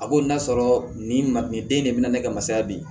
A b'o n'a sɔrɔ nin ma nin den in de bɛ na ne ka masaya bi